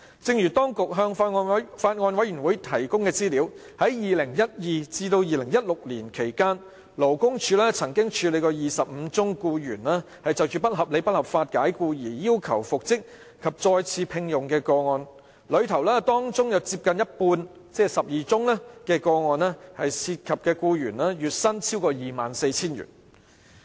正如當局向法案委員會提供的資料顯示，在2012年至2016年期間，勞工處曾處理25宗僱員就不合理及不合法解僱而要求復職及再次聘用的個案，當中接近一半個案涉及的僱員月薪超過 24,000 元。